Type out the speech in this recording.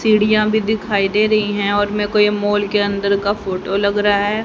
सीढ़ियां भी दिखाई दे रही हैं और मैको ये मॉल के अंदर का फोटो लगा रहा हैं।